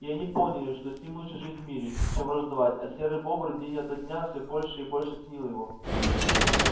и они поняли что с ним лучше жить в мире чем враждовать а серый бобр день ото дня все больше и больше ценил его